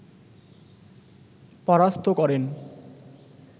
পরাস্থ করেন